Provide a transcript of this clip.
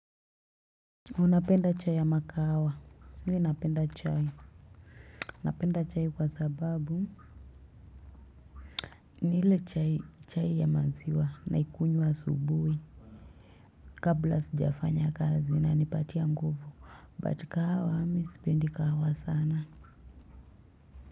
Unapenda chai ya makahawa mimi napenda chai napenda chai kwa sababu ni ile chai chai ya maziwa naikunywa asubuhi. Kabla sijafanya kazi inanipatia nguvu but kahawa mimi sipendi kahawa sana.